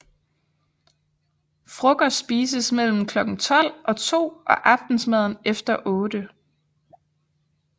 Frokost spises mellem klokken tolv og to og aftensmaden efter otte